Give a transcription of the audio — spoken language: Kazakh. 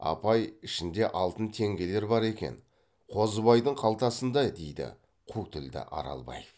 апай ішінде алтын теңгелер бар екен қозыбайдың қалтасында дейді қу тілді аралбаев